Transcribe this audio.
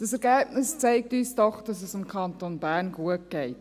Dieses Ergebnis zeigt uns doch, dass es dem Kanton Bern gut geht.